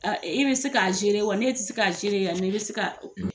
A i be se k'a zere wa ne te se k'a zere ya ne be se ka